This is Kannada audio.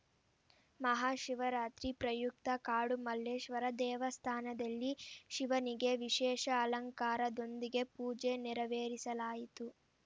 ಮಹಾಶಿವರಾತ್ರಿ ಪ್ರಯುಕ್ತ ಕಾಡು ಮಲ್ಲೇಶ್ವರ ದೇವಸ್ಥಾನದಲ್ಲಿ ಶಿವನಿಗೆ ವಿಶೇಷ ಅಲಂಕಾರದೊಂದಿಗೆ ಪೂಜೆ ನೆರವೇರಿಸಲಾಯಿತು